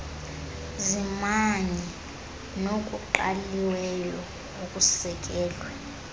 zimanye nokuqaliweyo okusekelwe